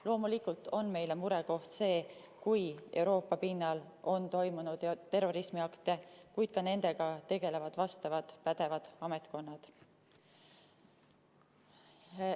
Loomulikult on meile murekoht see, kui Euroopa pinnal on toimunud terrorismiakte, kuid ka nendega tegelevad vastavad pädevad ametkonnad.